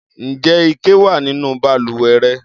Ǹjẹ́ ike wà nínú balùwẹ̀ rẹ?